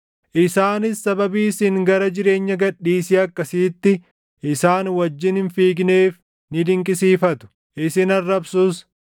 Isaanis sababii isin gara jireenya gad dhiisii akkasiitti isaan wajjin hin fiigneef ni dinqisiifatu; isin arrabsus.